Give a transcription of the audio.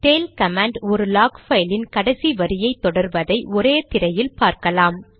tail command ஒரு log பைலின் கடைசி வரியை தொடர்வதை ஒரே திரையில் பார்க்கலாம்